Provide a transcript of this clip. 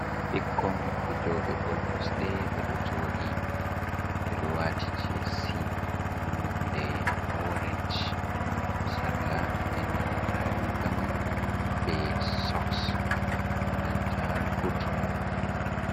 Ɓikkon fijoɓe bol kosɗe ɓe ɗo jodi, ɓe ɗo wati jins nonde orenc, sarla e nanta rigaman be soks e nanta buot maɓɓe.